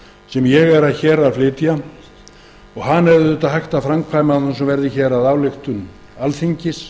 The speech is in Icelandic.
sem ég flyt hér og hana er auðvitað hægt að framkvæma án þess að hún verði að ályktun alþingis